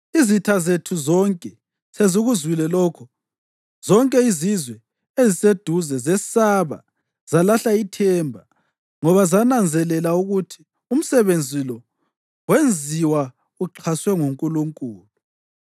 Izitha zethu zonke sezikuzwile lokho, zonke izizwe eziseduze zesaba zalahla ithemba, ngoba zananzelela ukuthi umsebenzi lo wenziwa uxhaswe nguNkulunkulu.